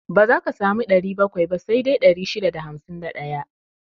Ba za ka sami 700 ba, sai dai 651.